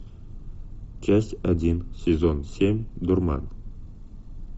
часть один сезон семь дурман